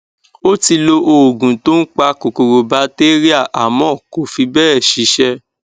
ó ti lo òògun tó ń pa kòkòro batéríà àmọ kò fí bẹẹ ṣiṣẹ